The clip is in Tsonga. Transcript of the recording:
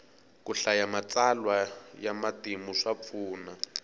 ku hlaya matsalwa ya matimu swa pfuna